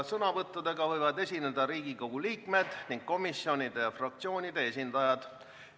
Sõnavõttudega võivad esineda Riigikogu liikmed ning komisjonide ja fraktsioonide esindajad.